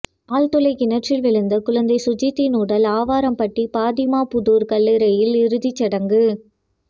ஆழ்துளை கிணற்றில் விழுந்த குழந்தை சுஜித்தின் உடல் ஆவாரம்பட்டி பாத்திமா புதூர் கல்லறையில் இறுதிச்சடங்கு